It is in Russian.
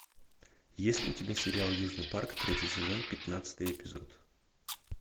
есть ли у тебя сериал южный парк третий сезон пятнадцатый эпизод